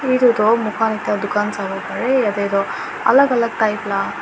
aro etu tu mukan ekta dukan sabo parae yete tho alak alak type la.